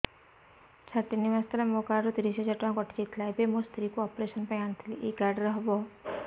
ସାର ତିନି ମାସ ତଳେ ମୋ କାର୍ଡ ରୁ ତିରିଶ ହଜାର ଟଙ୍କା କଟିଯାଇଥିଲା ଏବେ ମୋ ସ୍ତ୍ରୀ କୁ ଅପେରସନ ପାଇଁ ଆଣିଥିଲି ଏଇ କାର୍ଡ ରେ ହବ